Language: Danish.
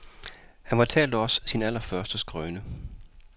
Han fortalte os sin allerførste skrøne.